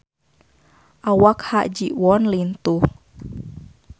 Awak Ha Ji Won lintuh